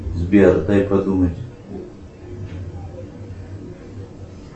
сбер дай подумать